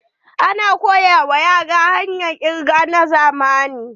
Ana koya wa yara hanyar kirga na zamani.